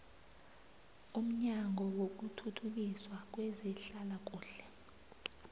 umnyango wokuthuthukiswa kwezehlalakuhle